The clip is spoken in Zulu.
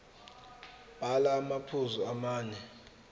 bhala amaphuzu amane